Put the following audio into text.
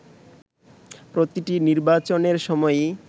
প্রতিটি নির্বাচনের সময়ই